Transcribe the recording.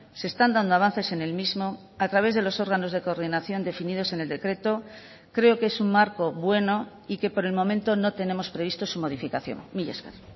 se están dando avances en el mismo a través de los órganos de coordinación definidos en el decreto creo que es un marco bueno y que por el momento no tenemos previsto su modificación mila esker